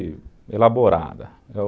elaborada